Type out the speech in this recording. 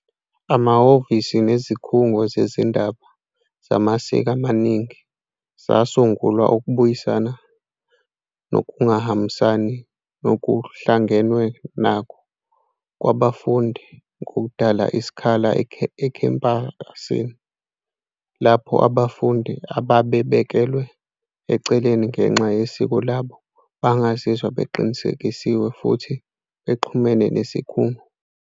Amahhovisi nezikhungo zezindaba zamasiko amaningi zasungulwa ukubuyisana nokungahambisani nokuhlangenwe nakho kwabafundi ngokudala isikhala ekhempasini lapho abafundi ababebekelwe eceleni ngenxa yesiko labo bangazizwa beqinisekisiwe futhi bexhumene nesikhungo.